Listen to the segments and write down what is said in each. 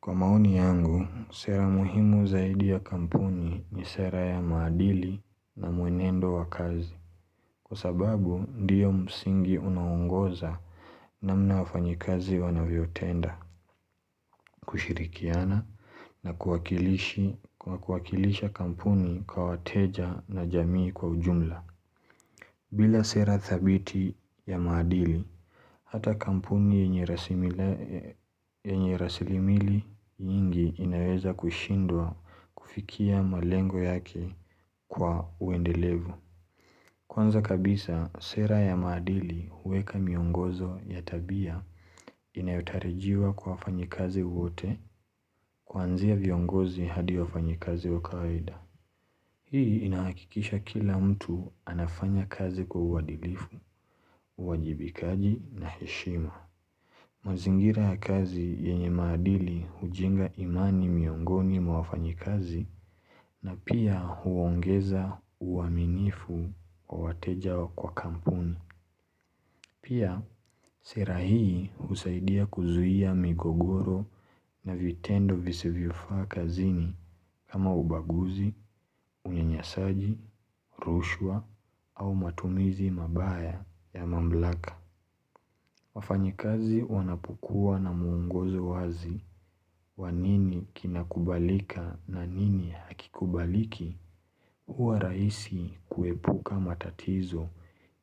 Kwa maoni yangu, sera muhimu zaidi ya kampuni ni sera ya maadili na muenendo wa kazi. Kwa sababu, ndiyo msingi unaongoza namna wafanyikazi wanavyotenda, kushirikiana na kuwakilisha kampuni kwa wateja na jamii kwa ujumla. Bila sera thabiti ya maadili, hata kampuni yenye rasilimali nyingi inaweza kushindwa kufikia malengo yake kwa uendelevu. Kwanza kabisa, sera ya maadili huweka miongozo ya tabia inayotarajiwa kwa wafanyikazi wote kwanzia viongozi hadi wafanyikazi wa kawaida. Hii inahakikisha kila mtu anafanya kazi kwa uadilifu, uwajibikaji na heshima. Mazingira ya kazi yenye maadili hujenga imani miongoni mwa wafanyikazi na pia huongeza uaminifu kwa wateja kwa kampuni. Pia, sera hii husaidia kuzuia migogoro na vitendo visivyofaa kazini kama ubaguzi, unyanyasaji, rushwa au matumizi mabaya ya mamlaka. Wafanyikazi wanapokua na mwongozo wazi wa nini kinakubalika na nini hakikubaliki. Huwa rahisi kuepuka matatizo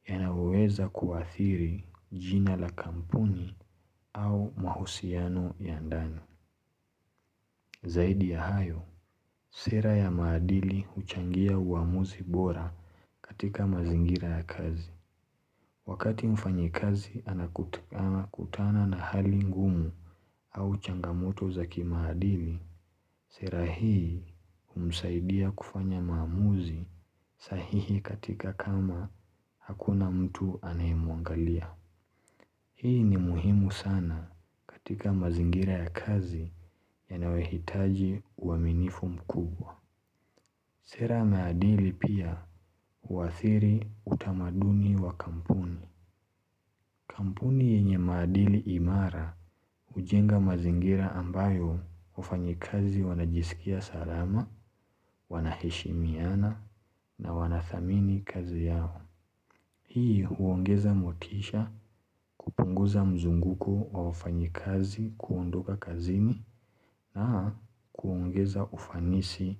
yanaweza kuathiri jina la kampuni au mahusiano ya ndani. Zaidi ya hayo, sera ya maadili huchangia uamuzi bora katika mazingira ya kazi. Wakati mfanyikazi anakutana na hali ngumu au changamoto za kimaadili, Sera hii humsaidia kufanya maamuzi sahihi katika kama hakuna mtu anayemwangalia. Hii ni muhimu sana katika mazingira ya kazi yanayohitaji uaminifu mkubwa. Sera maadili pia uathiri utamaduni wa kampuni. Kampuni yenye maadili imara hujenga mazingira ambayo wafanyikazi wanajisikia salama, wanaheshimiana na wanathamini kazi yao. Hii huongeza motisha kupunguza mzunguko wa wafanyikazi kuondoka kazini na kuongeza ufanisi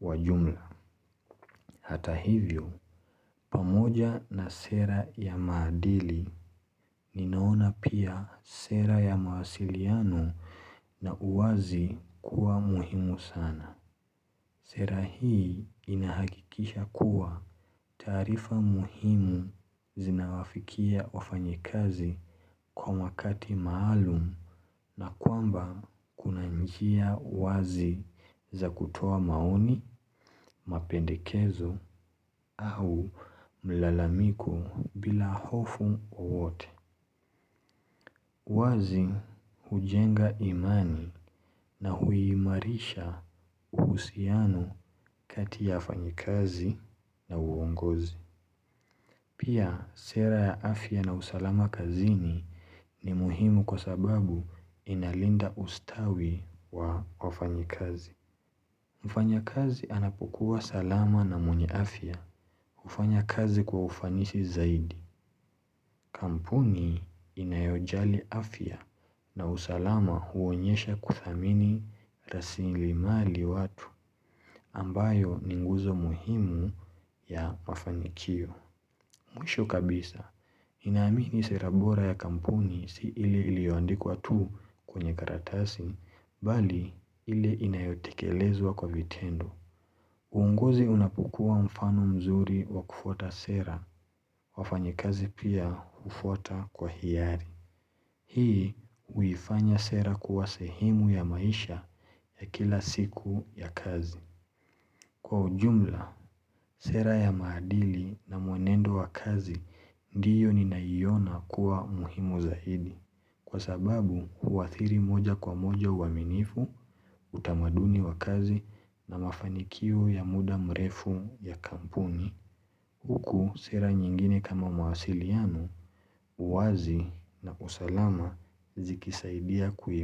wa jumla. Hata hivyo, pamoja na sera ya maadili, ninaona pia sera ya mawasiliano na uwazi kuwa muhimu sana. Sera hii inahakikisha kuwa taarifa muhimu zinawafikia wafanyikazi kwa wakati maalum na kwamba kuna njia wazi za kutoa maoni, mapendekezo au mlalamiko bila hofu wowote. Wazi hujenga imani na huimarisha uhusiano kati ya wafanyikazi na uongozi. Pia sera ya afya na usalama kazini ni muhimu kwa sababu inalinda ustawi wa wafanyikazi. Mfanyakazi anapokua salama na mwenye afya. Hufanya kazi kwa ufanisi zaidi. Kampuni inayojali afya na usalama huonyesha kuthamini rasilimali watu ambayo ni nguzo muhimu ya mafanikio. Mwisho kabisa, ninaamini sera bora ya kampuni si ile iliyoandikwa tu kwenye karatasi, bali ile inayotekelezwa kwa vitendo. Uonguzi unapokua mfano mzuri wa kufuata sera, wafanyikazi pia hufuata kwa hiari. Hii huifanya sera kuwa sehemu ya maisha ya kila siku ya kazi Kwa ujumla, sera ya maadili na mwenendo wa kazi Ndiyo ninaiona kuwa muhimu zaidi Kwa sababu, huathiri moja kwa moja uaminifu utamaduni wa kazi na mafanikio ya muda mrefu ya kampuni Huku sera nyingine kama mawasiliano uwazi na usalama zikisaidia kuima.